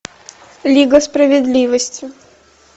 лига справедливости